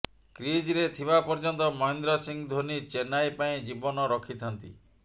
କ୍ରିଜ୍ରେ ଥିବା ପର୍ଯ୍ୟନ୍ତ ମହେନ୍ଦ୍ର ସିଂହ ଧୋନି ଚେନ୍ନାଇ ପାଇଁ ଜୀବନ ରଖିଥାନ୍ତି